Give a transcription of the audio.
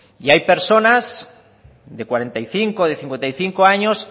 y hay personas de cuarenta y cinco o de cincuenta y cinco años